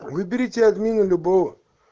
выберите админу любого